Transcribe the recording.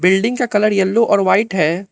Building का colour yellow और white है।